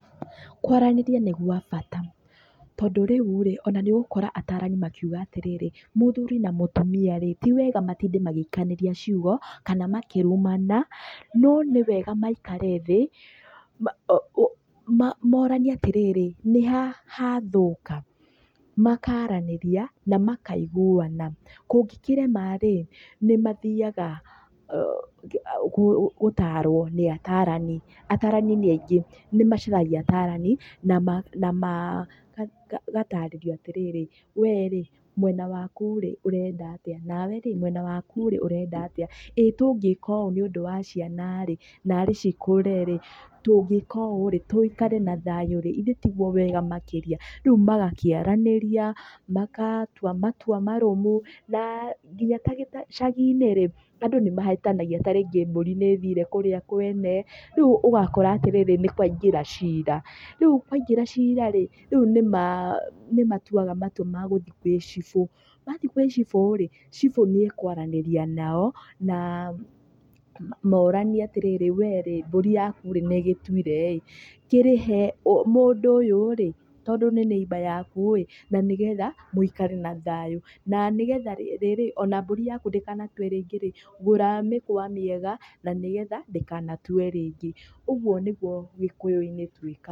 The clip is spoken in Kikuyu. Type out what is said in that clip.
Kwaranĩria nĩ gwa bata. Tondũ rĩu rĩ, ona nĩ ũgũkora atarani makiuga atĩrĩrĩ, mũthuri na mũtumia rĩ ti wega matinde magĩikanĩria ciugo kana makĩrumana, no nĩwega maikare thĩ, moranie atĩrĩrĩ, nĩ ha hathũka, makaranĩria na makaiguana. Kũngĩkĩrema rĩ, nĩ mathaiga gũtarwo nĩ atarani, atarani nĩ aingĩ. Nĩ macaragia atarani na ma, magatarĩrio atĩrĩrĩ we rĩ mwena waku rĩ ũrenda atĩa nawe rĩ mwena waku rĩ urenda atĩa. Ĩĩ tũngĩka ũũ nĩũndũ wa ciana narĩ cikũre rĩ, tũngĩka ũũ rĩ tũikare na thayu rĩ ithe tiguo wega makĩria. Rĩu magakĩaranĩria, magatua matua marũmu na nginya ta gĩcagi-inĩ rĩ andũ nĩ mahĩtanagia ta rĩngĩ mbũri nĩ ĩthire kũrĩa kwene, rĩu ũgakora atĩrĩrĩ, nĩ kwaingĩra cira. Rĩu kwaĩngĩra cira rĩ, rĩu nĩ matuaga matua ma gũthiĩ gwĩ ciBũ. Mathiĩ gwĩ ciBũ rĩ, ciBũ nĩ ekũaranĩria nao na moranie atĩrĩrĩ we rĩ, mbũri yaku nĩ ĩgĩtuire kĩrĩhe mũndũ ũyũ rĩ tondũ nĩ neighbour yaku ĩ, na nĩgetha mũikare na thayũ na nĩgetha rĩrĩ ona mbũri yaku ndĩkanatue rĩngĩ, gũra mĩkwa mĩega na nĩgetha ndĩkanatue rĩngi. Ũguo nĩguo Gĩkũyũ-inĩ twĩkaga.